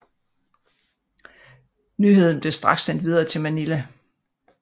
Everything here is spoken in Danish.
Nyheden blev straks sendt videre til Manila